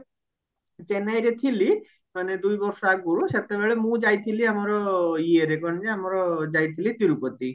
ଚେନ୍ନାଇରେ ଥିଲି ମାନେ ଦୁଇ ବର୍ଷ ଆଗରୁ ସେତେବେଳେ ମୁଁ ଯାଇଥିଲି ଆମର ଇଏରେ କଣ ଯେ ଆମର ଯାଇଥିଲି ତିରୁପତି